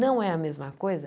Não é a mesma coisa?